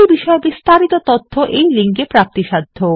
এই বিষয় বিস্তারিত তথ্য এই লিঙ্ক এ প্রাপ্তিসাধ্য